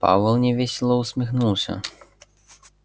пауэлл невесело усмехнулся